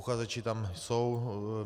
Uchazeči tam jsou.